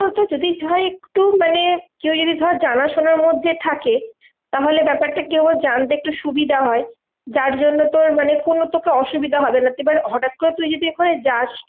যদি হয় একটু মানে কেউ যদি ধর জানাশোনার মধ্যে থাকে, তাহলে ব্যাপারটা কি হয় জানতে একটু সুবিধা হয়? যার জন্যে তোর মানে কোনো তোকে অসুবিধা হবে না এবার হটাৎ করে তুই যদি ওখানে যাস,